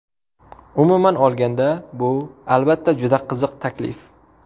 Umuman olganda, bu, albatta, juda qiziq taklif.